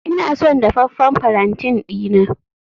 Ina son dafaffen palantin dina